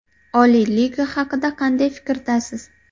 Oliy liga haqida qanday fikrdasiz?